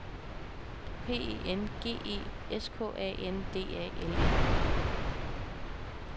P E N G E S K A N D A L E